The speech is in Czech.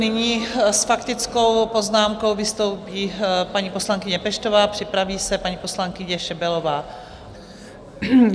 Nyní s faktickou poznámkou vystoupí paní poslankyně Peštová, připraví se paní poslankyně Šebelová.